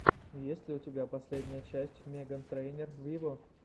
есть ли у тебя последняя часть меган трейнер виво